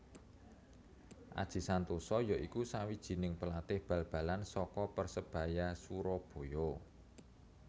Aji Santoso ya iku sawijining pelatih bal balan saka Persebaya Surabaya